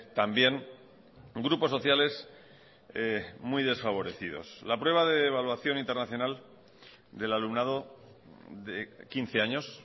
también grupos sociales muy desfavorecidos la prueba de evaluación internacional del alumnado de quince años